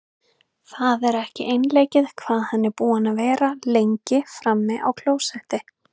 Það er ekki einleikið hvað hann er búinn að vera lengi frammi á klósetti!